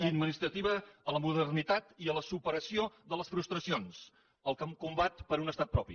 i administrativa a la modernitat i a la superació de les frustracions en el combat per un estat propi